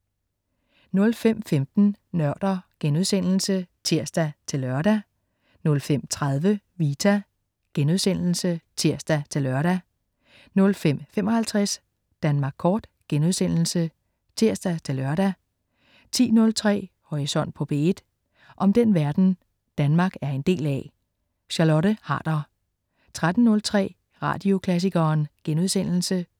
05.15 Nørder* (tirs-lør) 05.30 Vita* (tirs-lør) 05.55 Danmark kort* (tirs-lør) 10.03 Horisont på P1. om den verden Danmark er en del af. Charlotte Harder 13.03 Radioklassikeren*